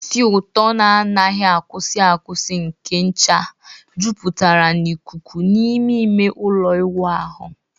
Isì ụtọ na anaghi akwusi akwusi nke ncha jupụtara n'ikuku n'ime ime ụlọ ịwụ ahụ.